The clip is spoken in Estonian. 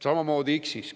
Samamoodi X-is.